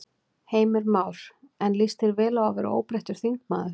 Heimir Már: En líst þér vel á að verða óbreyttur þingmaður?